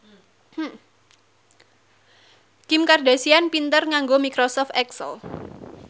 Kim Kardashian pinter nganggo microsoft excel